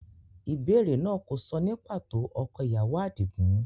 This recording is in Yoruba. Ìbéèrè náà kò sọ ní pàtó ọkọ ìyàwó Adigun.